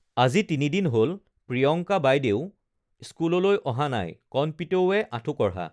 আজি তিনি দিন হল প্ৰিয়ংকা বাইদেউ স্কুললৈ অহা নাই কণপিতৌৱে আঁঠু কঢ়া